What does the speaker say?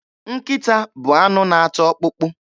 Nkịta bụ anụ na-ata ọkpụkpụ.